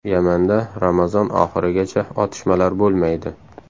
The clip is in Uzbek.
Yamanda Ramazon oxirigacha otishmalar bo‘lmaydi.